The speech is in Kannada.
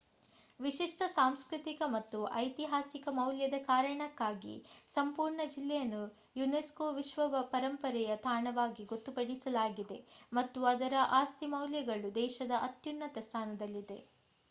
ವಿಶಿಷ್ಟ ಸಾಂಸ್ಕೃತಿಕ ಮತ್ತು ಐತಿಹಾಸಿಕ ಮೌಲ್ಯದ ಕಾರಣಕ್ಕಾಗಿ ಸಂಪೂರ್ಣ ಜಿಲ್ಲೆಯನ್ನು ಯುನೆಸ್ಕೋ ವಿಶ್ವ ಪರಂಪರೆಯ ತಾಣವಾಗಿ ಗೊತ್ತುಪಡಿಸಲಾಗಿದೆ ಮತ್ತು ಅದರ ಆಸ್ತಿ ಮೌಲ್ಯಗಳು ದೇಶದ ಅತ್ಯುನ್ನತ ಸ್ಥಾನದಲ್ಲಿವೆ